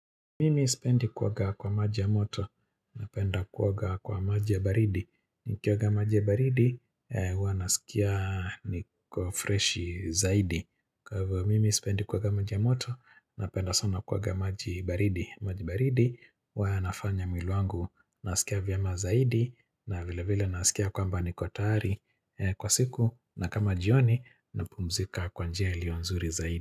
Mimi sipendi kuoga kwa maji ya moto, napenda kuoga kwa maji ya baridi. Nikioga maji ya baridi, huwa nasikia niko freshi zaidi. Kwa hivyo, mimi sipendi kuoga maji ya moto, napenda sana kuoga maji baridi. Maji baridi, wa nafanya mwili wangu, nasikia vyema zaidi, na vile vile nasikia kwamba nikotayari kwa siku, na kama jioni, na pumzika kwa njia iliyo nzuri zaidi.